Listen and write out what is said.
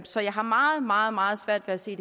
så jeg har meget meget meget svært ved at se